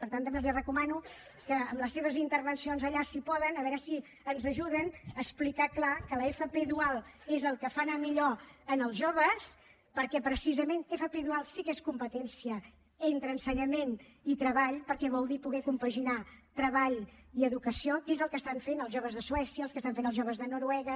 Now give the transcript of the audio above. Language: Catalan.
per tant també els recomano que en les seves intervencions allà si poden a veure si ens ajuden a explicar clar que l’fp dual és el que fa anar millor els joves perquè precisament fp dual sí que és competència entre ensenyament i treball perquè vol dir poder compaginar treball i educació que és el que estan fent els joves de suècia el que estan fent els joves de noruega